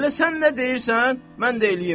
Elə sən nə deyirsən, mən də eləyim.